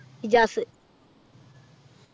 Ijaz